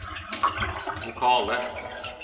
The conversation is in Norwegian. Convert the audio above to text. vokale